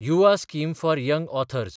Yuva scheme for young authors